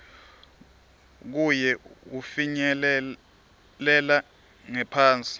kuye wufinyelela ngephansi